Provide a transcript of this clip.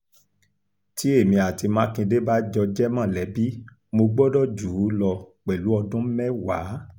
tí èmi àti mákindé bá jọ jẹ́ mọ̀lẹ́bí mo gbọ́dọ̀ jù ú lọ pẹ̀lú ọdún mẹ́wàá